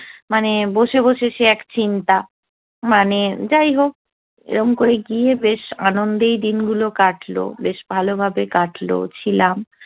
মানে বসে বসে সে এক চিন্তা মানে যাই হোক, এরম করে গিয়ে বেশ আনন্দেই দিন গুলো কাটলো বেশ ভালো ভাবেই কাটলো, ছিলাম।